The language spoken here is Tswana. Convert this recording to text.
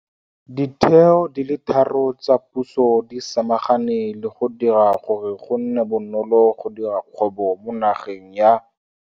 Ditheo di le tharo tsa puso di samagane le go dira gore go nne bonolo go dira kgwebo mo nageng ya.